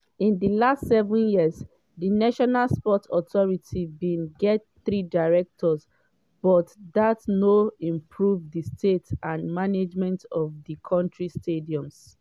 in di last seven years di national sports authority bin get three directors but dat no improve di state and management of di kontris stadiums.